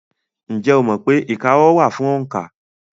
Ǹjẹ́ o mọ̀ pé ìka ọwọ́ wà fún òǹkà?